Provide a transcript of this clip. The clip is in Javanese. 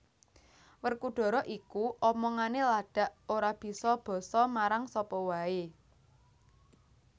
Werkudara iku omongane ladak ora bisa basa marang sapa wae